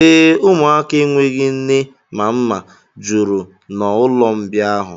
Ee, ụmụaka enweghị nne ma mma juru n'ụlọmbịa ahụ.